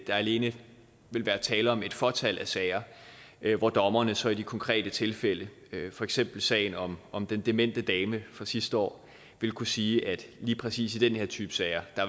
der alene vil være tale om et fåtal af sager hvor dommerne så i de konkrete tilfælde for eksempel sagen om om den demente dame fra sidste år vil kunne sige at lige præcis i den her type sager